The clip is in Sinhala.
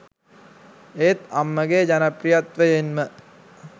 ඒත් අම්මගේ ජනප්‍රිත්වයෙන්ම